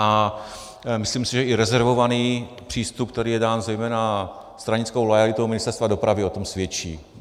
A myslím si, že i rezervovaný přístup, který je dán zejména stranickou loajalitou Ministerstva dopravy, o tom svědčí.